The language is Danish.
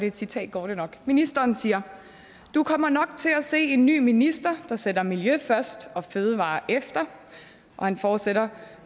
et citat går det nok ministeren siger du kommer nok til at se en ny minister der sætter miljø først og fødevarer efter og han fortsætter